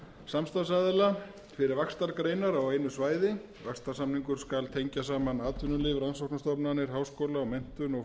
samstarfsaðila fyrir vaxtargreinar á einu svæði vaxtarsamningur skal tengja saman atvinnuleyfi rannsóknastofnanir háskóla menntun og